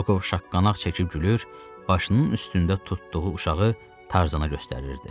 Rokov şaqqanaq çəkib gülür, başının üstündə tutduğu uşağı Tarzana göstərirdi.